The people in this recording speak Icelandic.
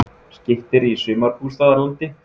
Skytterí í sumarbústaðalandi